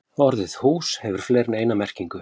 Orðið hús hefur fleiri en eina merkingu.